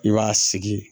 I b'a sigi